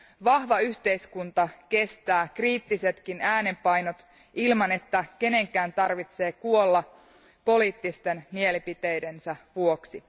Vahva yhteiskunta kestää kriittisetkin äänenpainot ilman, että kenenkään tarvitsee kuolla poliittisten mielipiteidensä vuoksi.